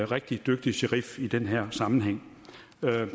rigtig dygtig sherif i den her sammenhæng